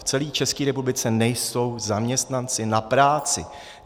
V celé České republice nejsou zaměstnanci na práci.